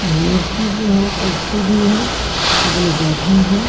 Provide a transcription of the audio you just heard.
मेज भी बुआ हैं कुर्सी भी है सभी लोग बैठे हैं।